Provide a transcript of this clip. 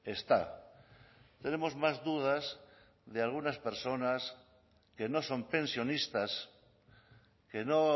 está tenemos más dudas de algunas personas que no son pensionistas que no